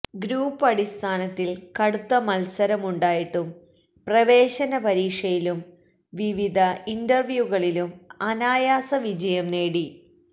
group അടിസ്ഥാനത്തിൽ കടുത്ത മത്സരമുണ്ടായിട്ടും പ്രവേശന പരീക്ഷയിലും വിവിധ ഇന്റർവ്യൂകളിലും അനായാസ വിജയം നേടി